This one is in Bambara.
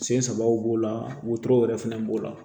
Sen sabaw b'o la wotoro yɛrɛ fɛnɛ b'o la